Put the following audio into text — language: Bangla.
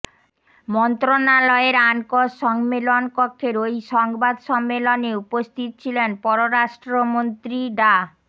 মন্ত্রণালয়ের আনকস সম্মেলন কক্ষের ওই সংবাদ সম্মেলনে উপস্থিত ছিলেন পররাষ্ট্রমন্ত্রী ডা